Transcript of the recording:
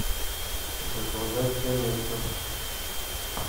заказать доместос